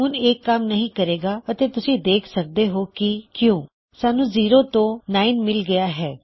ਹੁਣ ਇਹ ਕੰਮ ਨਹੀ ਕਰੇਗਾ ਅਤੇ ਤੁਸੀਂ ਦੇਖ ਸਕਦੇ ਹੋਂ ਕੀ ਕਿਉਂ ਸਾਨੂੰ 0 ਤੋਂ 9 ਮਿਲ ਗਿਆ ਹੈ